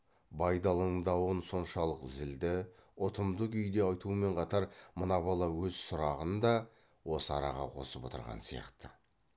байдалының дауын соншалық зілді ұтымды күйде айтумен қатар мына бала өз сұрағын да осы араға қосып отырған сияқты